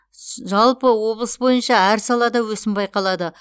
жалпы облыс бойынша әр салада өсім байқалады